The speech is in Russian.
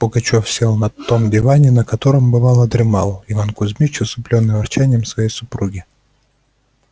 пугачёв сел на том диване на котором бывало дремал иван кузмич усыплённый ворчанием своей супруги